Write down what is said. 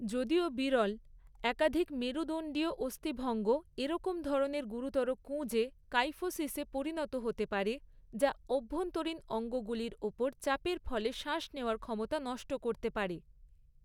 যদিও বিরল, একাধিক মেরুদণ্ডীয় অস্থিভঙ্গ এরম ধরনের গুরুতর কুঁজে, কাইফোসিসে পরিণত হতে পারে, যা অভ্যন্তরীণ অঙ্গগুলির ওপর চাপের ফলে শ্বাস নেওয়ার ক্ষমতা নষ্ট করতে পারে।